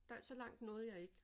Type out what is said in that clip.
Der så langt nåede jeg ikke